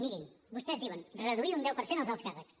mirin vostès diuen reduir un deu per cent els alts càrrecs